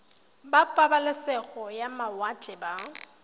ba pabalesego ya mawatle ba